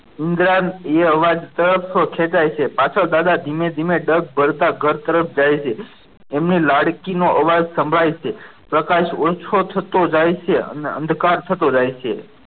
ઇન્દિરા એ અવાજ તરફ ખેંચાય છે પાછળ દાદા ધીમે ધીમે ડગ ભરતા ઘર તરફ જાય છે એમની લાડકી નો અવાજ સંભળાય છે પ્રકાશ ઓછો થતો જાય છે અને અંધકાર થતો જાય છે.